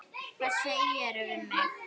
Hvað segirðu við mig?